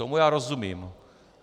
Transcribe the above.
Tomu já rozumím.